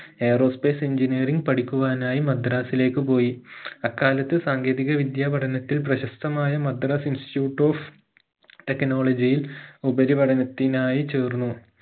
aerospace engineering പഠിക്കുവാനായി മദ്രാസിലേക്ക് പോയി അക്കാലത്ത് സാങ്കേതിക വിദ്യ പഠനത്തിൽ പ്രശസ്തമായ മദ്രാസ് institute of technology ഇൽ ഉപരിപഠനത്തിനായി ചേർന്നു